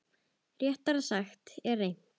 Réttara sagt, er reynt.